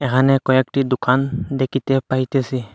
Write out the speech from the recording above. এখানে কয়েকটি দুকান দেকিতে পাইতেসি।